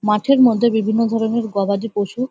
মাঠের মধ্যে বিভিন্ন ধরনের গবাদি পশু।